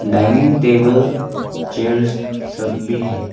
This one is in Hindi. डाइनिंग टेबल चेयर्स सब भी है।